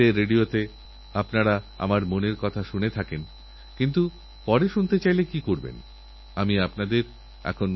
মহারাষ্ট্র রাজ্যের পুনের জুন্নর তালুকের নারায়ণপুর গ্রামের কৃষকখণ্ডু মারুতি মহাত্রে নিজের নাতনি সোনালের বিয়ে এক দৃষ্টান্তমূলক পদ্ধতিতেকরিয়েছেন